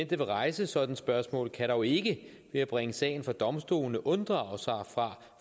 der vil rejse sådant spørgsmål kan dog ikke ved at bringe sagen for domstolene unddrage sig fra